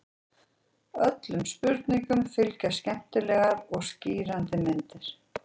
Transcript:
Öllum spurningum fylgja skemmtilegar og skýrandi myndir.